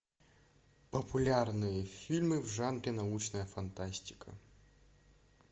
популярные фильмы в жанре научная фантастика